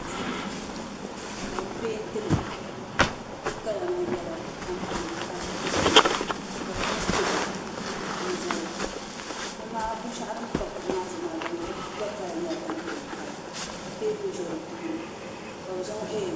duu ka bi peentili di kala maa nyɛla tampilim kala ka bi zaŋ kuɣu n zali binshaɣu din pa kuɣu maa zuɣu maa di gba kala nyɛla tampilim kala ka teebuli ʒɛ di tooni ka bi zaŋ